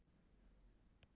Mjóstræti